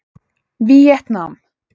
Víetnam